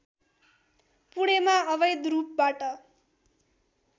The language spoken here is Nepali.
पुणेमा अवैध रूपबाट